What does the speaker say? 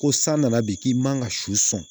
Ko san nana bi k'i man ka su sɔn